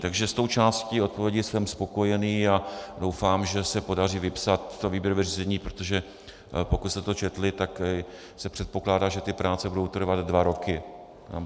Takže s tou částí odpovědi jsem spokojený a doufám, že se podaří vypsat to výběrové řízení, protože pokud jste to četli, tak se předpokládá, že ty práce budou trvat dva roky.